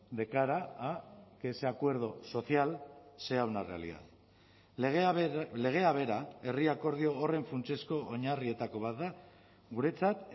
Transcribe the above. de cara a que ese acuerdo social sea una realidad legea bera herri akordio horren funtsezko oinarrietako bat da guretzat